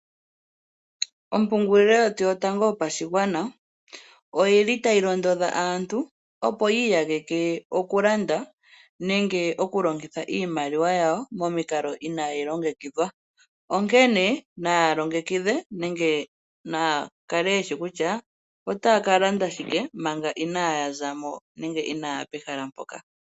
Ompungulilo yetu yotango yopashigwana oyili tayi londodha aantu, opo yi iyageke oku landa nenge oku longitha iimaliwa yawo momikalo inaayi longekidhwa, onkene naya longekidhe naya kale yeshi kutya otaya ka landa shike manga inaaya za mo nenge inaaya pehala mpoka.